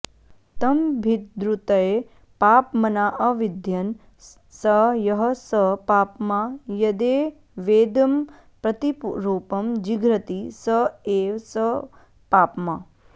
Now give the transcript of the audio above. तमभिद्रुत्य पाप्मनाऽविध्यन् स यः स पाप्मा यदेवेदमप्रतिरूपं जिघ्रति स एव स पाप्मा